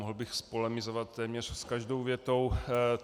Mohl bych polemizovat téměř s každou větou.